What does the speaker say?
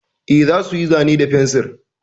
E, za su yi zane da fensir.